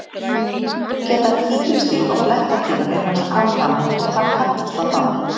Geta tígrisdýr og blettatígur eignast afkvæmi og hvað kallast það þá?